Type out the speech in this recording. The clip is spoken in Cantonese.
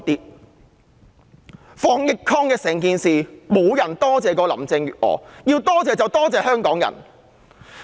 在防疫抗疫一事上，沒有人多謝林鄭月娥，要多謝便多謝香港人。